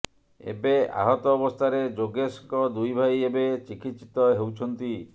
ଏବେ ଆହତ ଅବସ୍ଥାରେ ଯୋଗେଶଙ୍କ ଦୁଇ ଭାଇ ଏବେ ଚିକିତ୍ସିତ ହେଉଛନ୍ତି